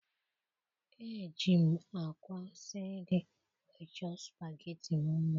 ejighị m àkwá sie nri wee chọọ supageti m mma.